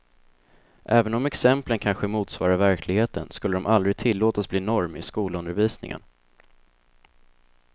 Även om exemplen kanske motsvarar verkligheten skulle de aldrig tillåtas bli norm i skolundervisningen.